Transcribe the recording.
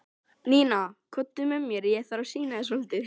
Nína, komdu með mér, ég þarf að sýna þér svolítið.